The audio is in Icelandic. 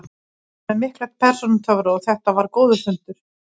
Hann er með mikla persónutöfra og þetta var góður fundur.